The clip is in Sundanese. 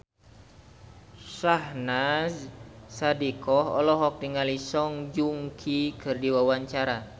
Syahnaz Sadiqah olohok ningali Song Joong Ki keur diwawancara